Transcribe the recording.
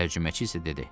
Tərcüməçi isə dedi.